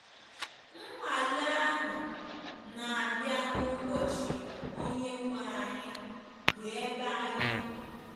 Nwale ahụ na-abịa n’ụbọchị Onyenwe anyị, bụ́ ebe anyị nọ.